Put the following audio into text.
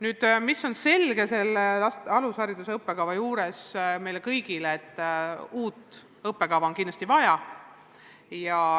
Meile kõigile on selge, et uut alushariduse õppekava on kindlasti vaja.